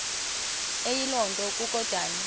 eyiloo nto kukodana